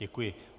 Děkuji.